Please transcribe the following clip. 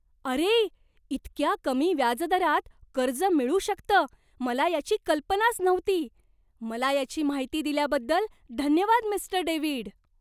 अरे! इतक्या कमी व्याजदरात कर्ज मिळू शकतं मला याची कल्पनाच नव्हती. मला याची माहिती दिल्याबद्दल धन्यवाद, मिस्टर डेव्हिड.